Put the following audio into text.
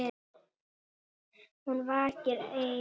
Hún vakir ein.